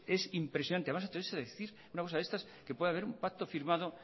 es impresionante además atreverse a decir una cosa de estas que puede haber un pacto firmado